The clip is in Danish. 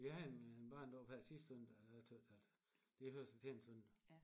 Jeg havde en en barnedåb her sidste søndag og jeg tøt at det hører sig til en søndag